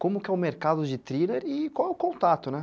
Como que é o mercado de thriller e qual é o contato, né?